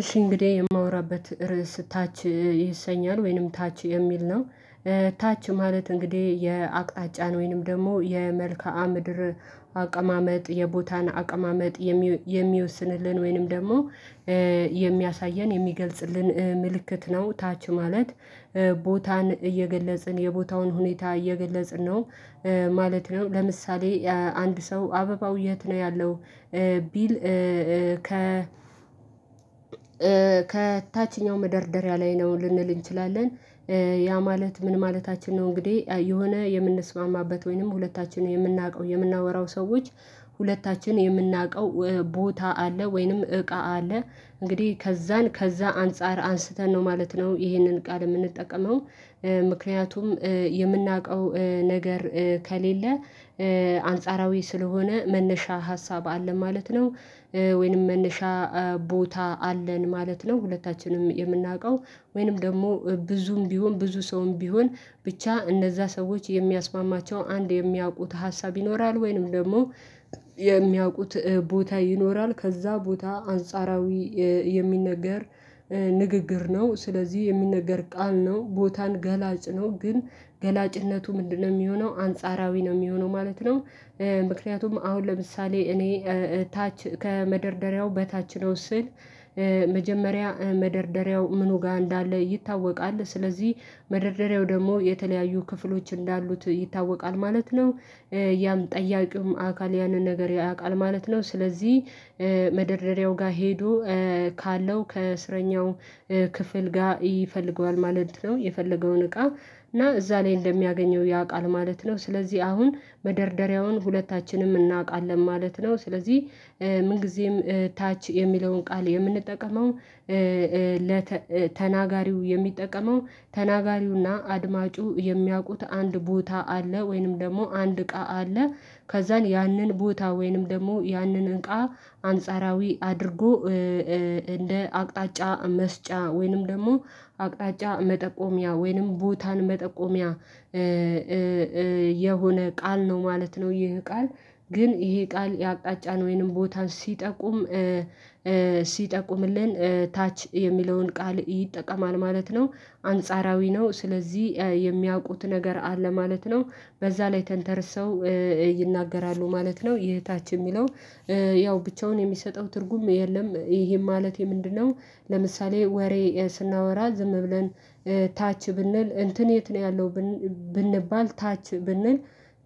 እሺ እንግዲህ የማወራበት ርዕስ ታች ይሰኛል ወይንም ታች የሚል ነው። ታች ማለት እንግዲህ የአቅጣጫን ወይንም ደግሞ የመልከአ ምድር አቀማመጥ የቦታን አቀማመጥ የሚወስንልን ወይንም ደግሞ የሚያሳየን የሚገልጽልን ምልክት ነው ታች ማለት ቦታን እየገለጽን የቦታውን ሁኔታ እየገለጽን ነው ማለት ነው። ለምሳሌ አንድ ሰው አበባው የት ነው ያለው ቢል ከ ከታችኛው መደርደሪያ ላይ ነው ልንል እንችላለን። ያ ማለት ምን ማለታችን ነው እንግዲህ የሆነ የምንስማማበት ወይንም ሁለታችንን የምናውቀው የምናወራው ሰዎች ሁለታችንን የምናውቀው ቦታ አለ ወይንም እቃ አለ። እንግዲህ ከዛን ከዛ አንፃር አንስተን ነው ማለት ነው ይሄንን ቃል የምንጠቀመው ምክንያቱም የምናውቀው ነገር ከሌለ አንጻራዊ ስለሆነ መነሻ ሀሳብ አለ ማለት ነው። ወይንም መነሻ ቦታ አለን ማለት ነው። ሁለታችንም የምናውቀው ወይንም ደግሞ ብዙም ቢሆን ብዙ ሰውም ቢሆን ብቻ እንደዛ ሰዎች የሚያስማማቸው አንድ የሚያውቁት ሀሳብ ይኖራል ወይንም ደግሞ የሚያውቁት ቦታ ይኖራል ከዛ ቦታ አንጻራዊ የሚነገር ንግግር ነው። ስለዚህ የሚነገር ቃል ነው ቦታን ገላጭ ነው ግን ገላጭነቱ ምንድነው የሚሆነው አንጻራዊ ነው የሚሆነው ማለት ነው። ምክንያቱም አሁን ለምሳሌ እኔ ታች ከመደርደሪያው በታች ነው ስል መጀመሪያ መደርደሪያው ምኑ ጋር እንዳለ ይታወቃል ስለዚህ መደርደሪያው ደግሞ የተለያዩ ክፍሎች እንዳሉት ይታወቃል ማለት ነው። ያም ጠያቂውም አካል ያንን ነገር ያውቃል ማለት ነው ስለዚህ መደርደሪያው ጋር ሄዶ ካለው ከእስረኛው ክፍል ጋር ይፈልገዋል ማለት ነው። የፈለገውን እቃ እና እዛ ላይ እንደሚያገኘው ያውቃል ማለት ነው። ስለዚህ አሁን መደርደሪያውን ሁለታችንም እናውቃለን ማለት ነው። ስለዚህ ምን ጊዜም ታች የሚለውን ቃል የምንጠቀመው ተናጋሪው የሚጠቀመው ተናጋሪውና አድማጩ የሚያውቁት አንድ ቦታ አለ ወይንም ደግሞ አንድ እቃ አለ። ከዛን ያንን ቦታ ወይንም ደግሞ ያንን እቃ አንጻራዊ አድርጎ እንደ አቅጣጫ መስጫ ወይንም ደግሞ አቅጣጫ መጠቆሚያ ወይንም ቦታን መጠቆሚያ የሆነ ቃል ነው ማለት ነው። ይሄ ቃል ግን ይሄ ቃል የአቅጣጫ ወይንም ቦታ ሲጠቁም ሲጠቁምልን ታች የሚለውን ቃል ይጠቀማል ማለት ነው። አንጻራዊ ነው ስለዚህ የሚያውቁት ነገር አለ ማለት ነው። በዛ ላይ ተንተርሰው ይናገራሉ ማለት ነው ይሄ ታች የሚለው ያው ብቻውን የሚሰጠው ትርጉም የለም። ይሄን ማለቴ ምንድነው ለምሳሌ ወሬ ስናወራ ዝም ብለን ታች ብንል እንትን የት ነው ያለው ብንባል ታች ብንል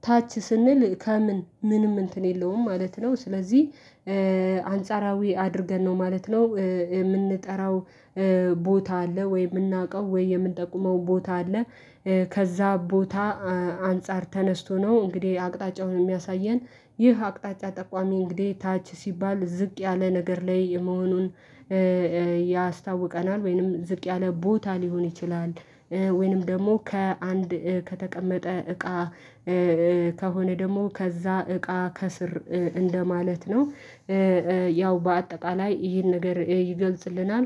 ታች ስንል ከምን ምንም እንትን የለውም ማለት ነው። ስለዚህ አንጻራዊ አድርገን ነው ማለት ነው የምንጠራው ቦታ አለ ወይ የምናውቀው ወይ የምንጠቁመው ቦታ አለ። ከዛ ቦታ አንፃር ተነስቶ ነው እንግዲህ አቅጣጫውን የሚያሳየን ይህ አቅጣጫ ጠቋሚ እንግዲህ ታች ሲባል ዝቅ ያለ ነገር ላይ መሆኑን ያስታውቀናል ወይንም ዝቅ ያለ ቦታ ሊሆን ይችላል። ወይንም ደግሞ ከአንድ ከተቀመጠ እቃ ከሆነ ደግሞ ከዛ እቃ ከስር እንደማለት ነው። ያው በአጠቃላይ ይህን ነገር ይገልጽልናል።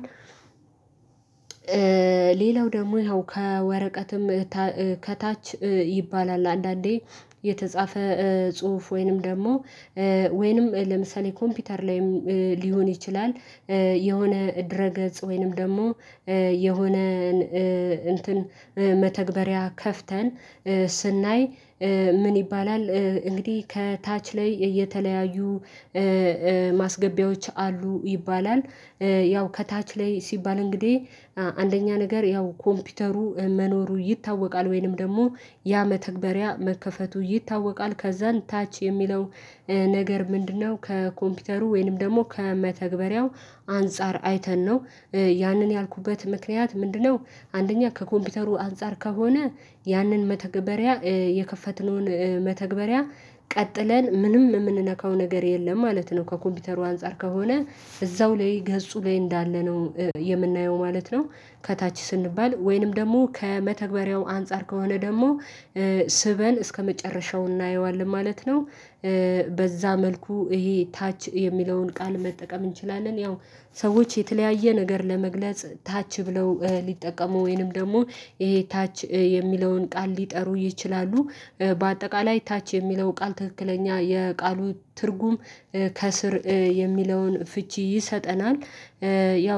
ሌላው ደግሞ ያው ከወረቀትም ከታች ይባላል አንዳንዴ የተጻፈ ጽሁፍ ወይንም ደግሞ ወይንም ለምሳሌ ኮምፒውተር ላይም ሊሆን ይችላል። የሆነ እድረ ገጽ ወይንም ደግሞ የሆነ እንትን መተግበሪያ ከፍተን ስናይ ምን ይባላል እንግዲህ ከታች ላይ እየተለያዩ ማስገቢያዎች አሉ ይባላል። ያው ከታች ላይ ሲባል እንግዲህ አንደኛ ነገር ያው ኮምፒውተሩ መኖሩ ይታወቃል ወይንም ደግሞ ያ መተግበሪያ መከፈቱ ይታወቃል። ከዛን ታች የሚለው ነገር ምንድነው ከኮምፒውተሩ ወይንም ደግሞ ከመተግበሪያው አንፃር አይተን ነው ያንን ያልኩበት ምክንያት ምንድነው? አንደኛ ከኮምፒውተሩ አንፃር ከሆነ ያንን መተግበሪያ የከፈትነውን መተግበሪያ ቀጥለን ምንም የምንነካው ነገር የለም ማለት ነው። ከኮምፒውተሩ አንፃር ከሆነ እዛው ላይ ገፁ ላይ እንዳለ ነው የምናየው ማለት ነው። ከታች ስንባል ወይንም ደግሞ ከመተግበሪያው አንፃር ከሆነ ደግሞ ስበን እስከመጨረሻው እናየዋለን ማለት ነው። በዛ መልኩ ይሄ ታች የሚለውን ቃል መጠቀም እንችላለን። ያው ሰዎች የተለያየ ነገር ለመግለጽ ታች ብለው ሊጠቀሙ ወይንም ደግሞ ይሄ ታች የሚለውን ቃል ሊጠሩ ይችላሉ። በአጠቃላይ ታች የሚለው ቃል ትክክለኛ የቃሉ ትርጉም ከስር የሚለውን ፍቺ ይሰጠናል። ያው